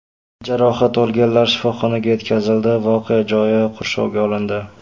Jarohat olganlar shifoxonaga yetkazildi, voqea joyi qurshovga olindi.